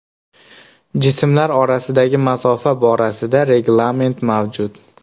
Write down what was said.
Jismlar orasidagi masofa borasida reglament mavjud.